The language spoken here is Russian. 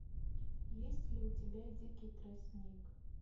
есть ли у тебя дикий тростник